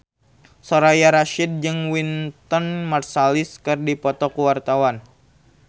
Soraya Rasyid jeung Wynton Marsalis keur dipoto ku wartawan